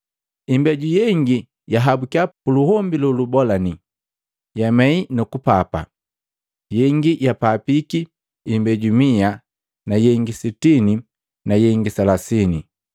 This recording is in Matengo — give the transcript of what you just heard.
Imbeju yengi yahabukiya puluombi lolubolalani, yamei nukupapa, yengi yapapiki imbeju mia na yengi sitini na yengi selasini.”